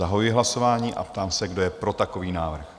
Zahajuji hlasování a ptám se, kdo je pro takový návrh?